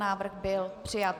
Návrh byl přijat.